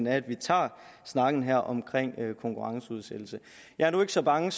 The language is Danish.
af at vi tager snakken her om konkurrenceudsættelse jeg er nu ikke så bange